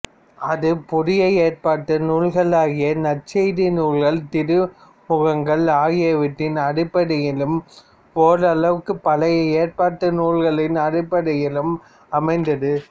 அது புதிய ஏற்பாட்டு நூல்களாகிய நற்செய்தி நூல்கள் திருமுகங்கள் ஆகியவற்றின் அடிப்படையிலும் ஓரளவுக்குப் பழைய ஏற்பாட்டு நூல்களின் அடிப்படையிலும் அமைந்தது